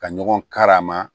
Ka ɲɔgɔn karama